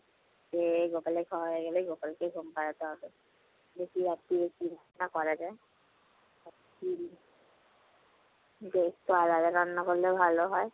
খেয়ে গোপালের খাওয়া হয়ে গেলে গোপালকে ঘুম পাড়াতে হবে। দেখি রাত্তিরে কি ব্যবস্থা করা যায়। রাতে যে একটু আলাদা রান্না করলে ভালো হয়।